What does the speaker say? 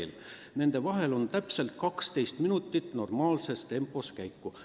Nende majade vahel on täpselt 12 minutit normaalses tempos käiku.